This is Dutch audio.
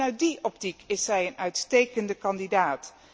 Ook vanuit die optiek is zij een uitstekende kandidaat.